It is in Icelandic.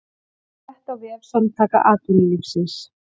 Frétt á vef Samtaka atvinnulífsins